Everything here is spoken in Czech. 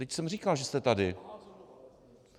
Vždyť jsem říkal, že jste tady.